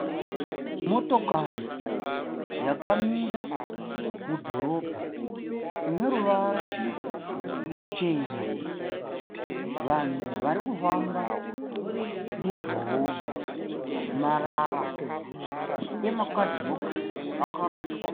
Motokari yakamira mudhorobha ine ruvara ruchena, vanhu varikufamba mudhorobha, marara emakadhibhokisi akarashwa